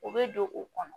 O bɛ don u kɔnɔ